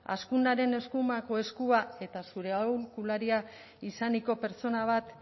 azkunaren eskumako eskua eta zure aholkularia izaniko pertsona bat